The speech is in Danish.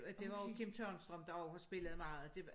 Og det var jo Kim Tørnstrøm der også spillede meget og det var